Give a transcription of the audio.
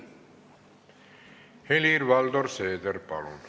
Helir-Valdor Seeder, palun!